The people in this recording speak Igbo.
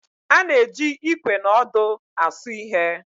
A na-eji Ikwe na ọdụ asụ ihe